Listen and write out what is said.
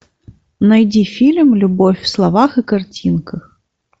найди фильм любовь в словах и картинках